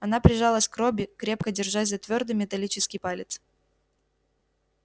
она прижалась к робби крепко держась за твёрдый металлический палец